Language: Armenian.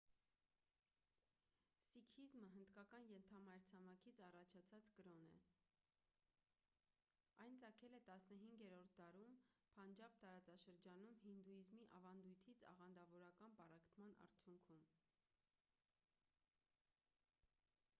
սիկհիզմը հնդկական ենթամայրցամաքից առաջացած կրոն է այն ծագել է 15-րդ դարում փանջաբ տարածաշրջանում հինդուիզմի ավանդույթից աղանդավորական պառակտման արդյունքում